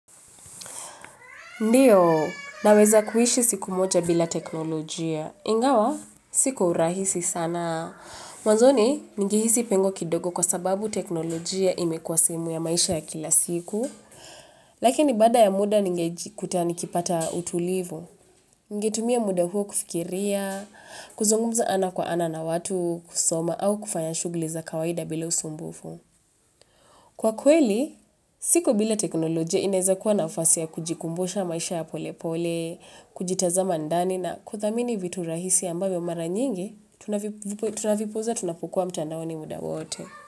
Ndiyo, naweza kuishi siku moja bila teknolojia. Ingawa, si kwa urahisi sana. Mwanzoni, ningehisi pengo kidogo kwa sababu teknolojia imekuwa sehemu ya maisha ya kila siku. Lakini baada ya muda ningejikuta nikipata utulivu. Ningetumia muda huo kufikiria, kuzungumza ana kwa ana na watu kusoma au kufanya shughuli za kawaida bila usumbufu. Kwa kweli, siku bila teknolojia inaweza kuwa nafasi ya kujikumbusha maisha ya polepole, kujitaza ndani na kuthamini vitu rahisi ambavyo mara nyingi, tunavipuuzia tunapukuwa mtandaoni muda wote.